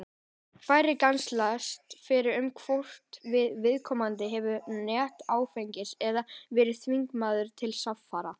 Færri grennslast fyrir um hvort að viðkomandi hafi neytt áfengis eða verið þvingaður til samfara.